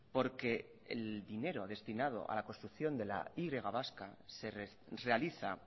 porque el dinero destinado a la construcción de la y vasca se realiza